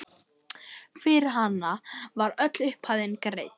Fyrir hana var öll upphæðin greidd.